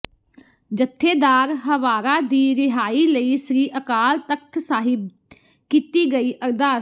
ਜਥੇਦਾਰ ਹਵਾਰਾ ਦੀ ਰਿਹਾਈ ਲਈ ਸ੍ਰੀ ਅਕਾਲ ਤਖਤ ਸਾਹਿਬ ਕੀਤੀ ਗਈ ਅਰਦਾਸ